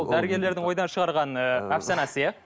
дәрігерлердің ойдан шығарған ы әпсанасы иә